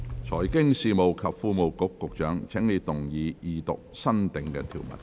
財經事務及庫務局局長，請動議二讀新訂條文。